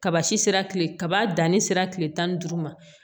Kaba si sera kile kaba danni sera kile tan ni duuru ma